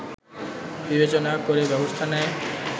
বিবেচনা করে ব্যবস্থা নেয়